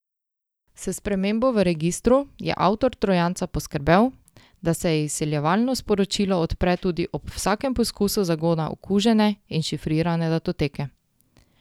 S spremembo v registru je avtor trojanca poskrbel, da se izsiljevalno sporočilo odpre tudi ob vsakem poskusu zagona okužene in šifrirane datoteke.